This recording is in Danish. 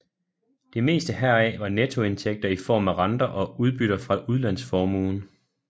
Det meste heraf var nettoindtægter i form af renter og udbytter fra udlandsformuen